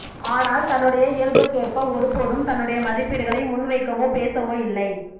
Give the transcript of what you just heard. ஆனால் தன்னுடைய இயல்புக்கேற்ப ஒருபோதும் தன்னுடைய மதிப்பீடுகளை முன்வைக்கவோ பேசவோ இல்லை